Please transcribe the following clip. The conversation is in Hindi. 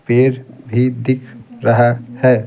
पेड़ भी दिख रहा है।